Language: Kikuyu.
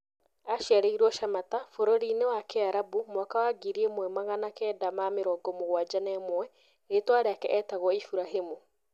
Aciarĩirwo Shamata bũrũri-inĩ wa Kĩarabu mwaka wa ngirĩ ĩmwe magana kenda ma-mirongo mũgwanja na ũmwe, Rĩĩtwa rĩake etagwo Iburahĩmu Awendo.